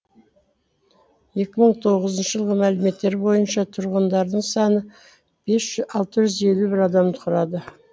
екі мың тоғызыншы жылғы мәліметтер бойынша тұрғындарының саны алты жүз елу адамды құрады